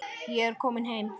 Ég er kominn heim!